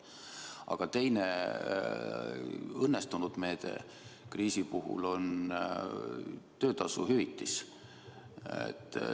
Aga teine, õnnestunud meede kriisi puhul on töötasu hüvitis.